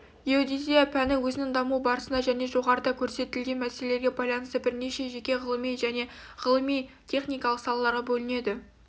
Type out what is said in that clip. геодезия пәні өзінің даму барысында және жоғарыда көрсетілген мәселелерге байланысты бірнеше жеке ғылыми және ғылыми техникалық салаларға бөлінеді